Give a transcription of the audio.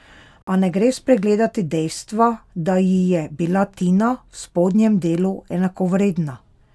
A ne gre spregledati dejstva, da ji je bila Tina v spodnjem delu enakovredna!